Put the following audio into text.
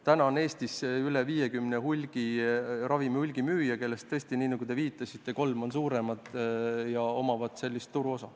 Täna on Eestis üle 50 ravimihulgimüüja, kellest tõesti, nagu te viitasite, kolm on suuremad ja omavad suurt turuosa.